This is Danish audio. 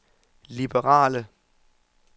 liberale